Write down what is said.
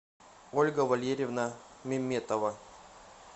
ольга валерьевна меметова